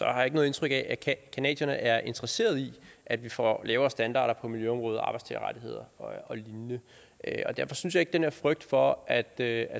jeg ikke noget indtryk af at canadierne er interesserede i at vi får lavere standarder på miljøområdet og arbejdstagerrettigheder og lignende derfor synes jeg den her frygt for at der